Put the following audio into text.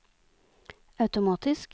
automatisk